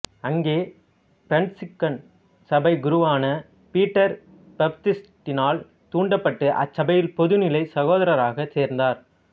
அங்கே பிரான்சிஸ்கன் சபைக் குருவான பீட்டர் பாப்திஸ்டினால் தூண்டப்பட்டு அச்சபையில் பொதுநிலை சகோதரராக சேர்ந்தார்